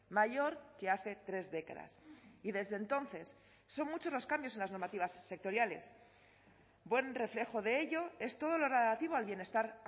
mayor que hace tres décadas y desde entonces son muchos los cambios en las normativas sectoriales buen reflejo de ello es todo lo relativo al bienestar